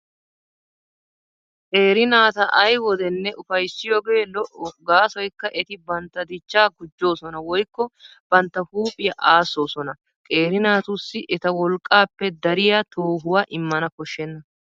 Qeeri naata ay wodenne ufayssiyoogee lo''o gaasoykka eti bantta dichchaa gujjoosona woykko bantta huuphiyaa aassoosona. Qeeri naatussi eta wolqqaappe dariyaa toohuwaa immana koshshenna.